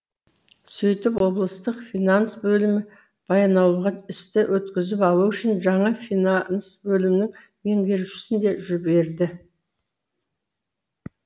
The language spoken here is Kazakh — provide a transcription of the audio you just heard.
сөйтіп облыстық финанс бөлімі баянауылға істі өткізіп алу үшін жаңа финанс бөлімінің меңгерушісін де жіберді